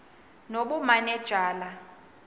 nobumanejala